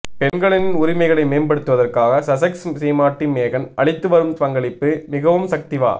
பெண்களின் உரிமைகளை மேம்படுத்துவதற்காக சசெக்ஸ் சீமாட்டி மேகன் அளித்துவரும் பங்களிப்பு மிகவும் சக்திவா